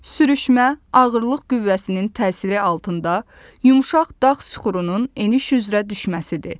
Sürüşmə ağırlıq qüvvəsinin təsiri altında yumşaq dağ süxurunun eniş üzrə düşməsidir.